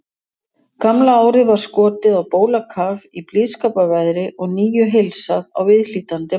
Gamla árið var skotið á bólakaf í blíðskaparveðri og nýju heilsað á viðhlítandi máta.